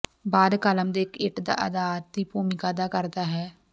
ਬਾਅਦ ਕਾਲਮ ਦੇ ਇੱਕ ਇੱਟ ਦਾ ਅਧਾਰ ਦੀ ਭੂਮਿਕਾ ਅਦਾ ਕਰਦਾ ਹੈ